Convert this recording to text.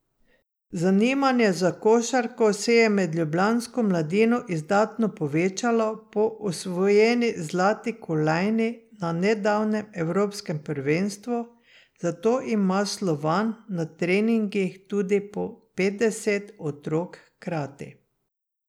Zanimanje za košarko se je med ljubljansko mladino izdatno povečalo po osvojeni zlati kolajni na nedavnem evropskem prvenstvu, zato ima Slovan na treningih tudi po petdeset otrok hkrati.